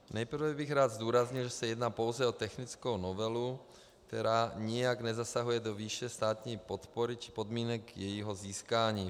Nejprve bych rád zdůraznil, že se jedná pouze o technickou novelu, která nijak nezasahuje do výše státní podpory či podmínek jejího získání.